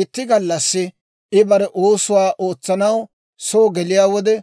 Itti gallassi I bare oosuwaa ootsanaw soo geliyaa wode,